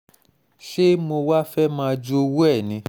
ṣé mo wàá fẹ́ẹ́ máa jowú ẹ̀ ni